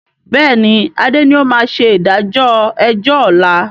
Bẹ́ẹ̀ni adé ni ó máa ṣe ìdájọ́ ẹjọ́ ọ̀la